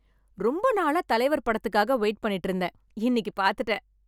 ரொம்ப நாளா தலைவர் படத்துக்காக வெயிட் பண்ணிட்டு இருந்தேன், இன்னிக்கி பாத்துட்டேன்.